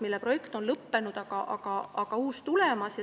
See projekt on lõppenud, aga uus on tulemas.